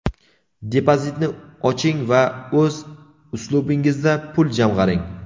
depozitni oching va o‘z uslubingizda pul jamg‘aring:.